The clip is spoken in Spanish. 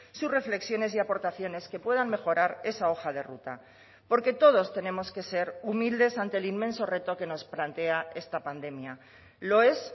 sus reflexiones y aportaciones que puedan mejorar esa hoja de ruta porque todos tenemos que ser humildes ante el inmenso reto que nos plantea esta pandemia lo es